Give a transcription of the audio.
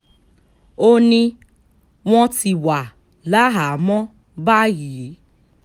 ó ní wọ́n ti wà láhàámọ̀ báyìí